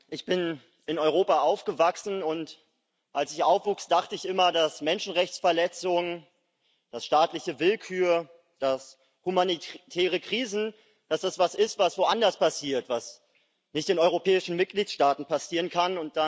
Ich bin in Europa aufgewachsen, und als ich aufwuchs, dachte ich immer, dass Menschenrechtsverletzungen, dass staatliche Willkür, dass humanitäre Krisen etwas sind, was woanders passiert, was nicht in europäischen Mitgliedstaaten passieren kann.